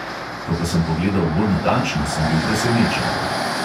Ko pa sem pogledal bolj natančno, sem bil presenečen.